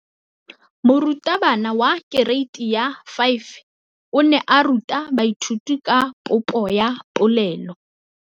Moratabana wa kereiti ya 5 o ne a ruta baithuti ka popô ya polelô.